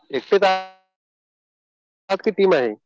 एकटेच आहात? एकटेच आहात कि टीम आहे?